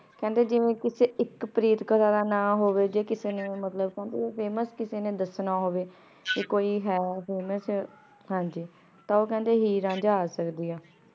ਕੇਹ੍ਨ੍ਡੇ ਜਿਵੇਂ ਕਿਸੇ ਏਇਕ ਪ੍ਰੀਤ ਕਥਾ ਦ ਨਾਮ ਹੋਵੇ ਊ ਕਿਸੇ ਨੇ famous ਕਿਸੇ ਨੇ ਦਸਣਾ ਹੋਵੇ ਕੇ ਕੋਈ ਹੈ famous ਤਾਂ ਊ ਕੇਹ੍ਨ੍ਡੇ ਹੀਰ ਰਾਂਝਾ ਆ ਸਕਦੀ ਆ